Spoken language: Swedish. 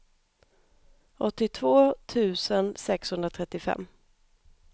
åttiotvå tusen sexhundratrettiofem